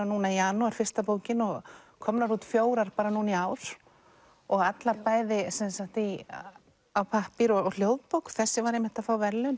núna í janúar fyrsta bókin og komnar út fjórar bara núna í ár og allar bæði á pappír og hljóðbók þessi var einmitt að fá verðlaun